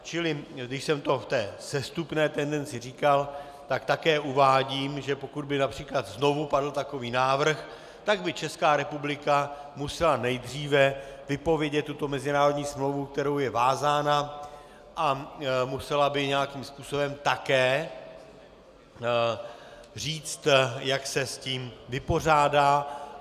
Čili když jsem to v té sestupné tendenci říkal, tak také uvádím, že pokud by například znovu padl takový návrh, tak by Česká republika musela nejdříve vypovědět tuto mezinárodní smlouvu, kterou je vázána, a musela by nějakým způsobem také říct, jak se s tím vypořádá.